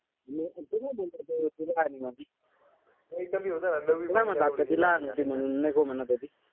नाई म्हंटल आता जी लहान होती म्हणून नको म्हणत होती.